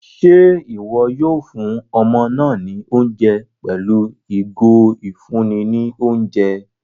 Ṣe iwọ yóò fún ọmọ náà ní oúnjẹ pẹlu igo ifunni ní oúnjẹ?